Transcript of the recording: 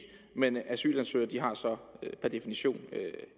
men asylansøgere har så per definition